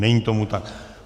Není tomu tak.